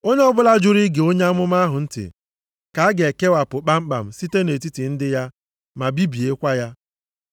Onye ọbụla jụrụ ige onye amụma ahụ ntị, ka a ga-ekewapụ kpamkpam site nʼetiti ndị ya ma bibiekwa ya.’ + 3:23 \+xt Dit 18:15,18,19\+xt*